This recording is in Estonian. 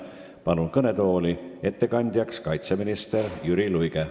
Kutsun kõnetooli ettekandjaks kaitseminister Jüri Luige.